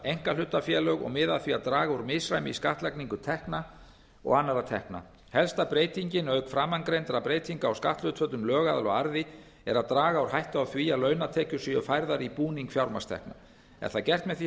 einkahlutafélög og miða að því að draga úr misræmi í skattlagningu tekna og annarra tekna helsta breytingin auk framangreindra breytinga á skatthlutföllum lögaðila og arði er að draga úr hættu á því að launatekjur séu færðar í búning fjármagnstekna er það gert með því að